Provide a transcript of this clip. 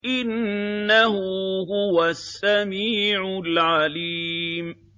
إِنَّهُ هُوَ السَّمِيعُ الْعَلِيمُ